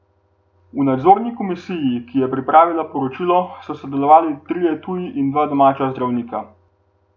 V nadzorni komisiji, ki je pripravila poročilo, so sodelovali trije tuji in dva domača zdravnika.